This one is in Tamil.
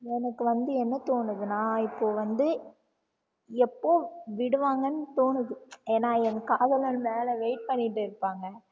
எனக்கு வந்து என்ன தோணுதுன்னா இப்போ வந்து எப்போ விடுவாங்கனு தோணுது ஏன்னா என் காதலன் மேல wait பண்ணிட்டு இருப்பாங்க